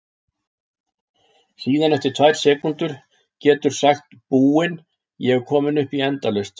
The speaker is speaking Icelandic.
Síðan eftir tvær sekúndur geturðu sagt Búin, ég er komin upp í endalaust!